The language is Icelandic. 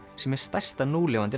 sem er stærsta núlifandi